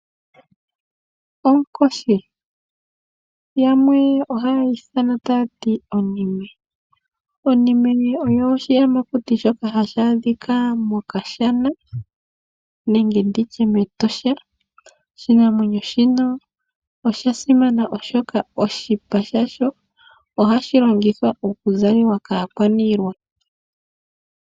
Onkoshi. Yamwe ohaya ithana tayati onime. Onime oyo oshiyamakuti shoka hashi adhika mEtosha. Oshinamwenyo shika osha simana oshoka oshipa shawo ohashi longithwa onga omuzalo kaakwaniilwa.